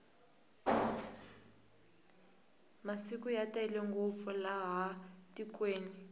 masimu ya tele ngopfu laha tikweni